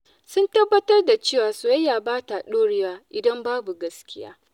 Sun tabbatar da cewa soyayya ba ta dorewa idan babu gaskiya.